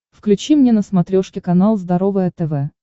включи мне на смотрешке канал здоровое тв